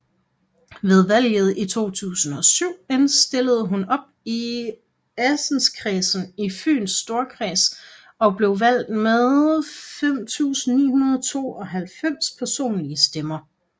Ved valget i 2007 stillede hun op i Assenskredsen i Fyns Storkreds og blev valgt med 5992 personlige stemmer